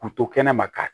Kun to kɛnɛ ma ka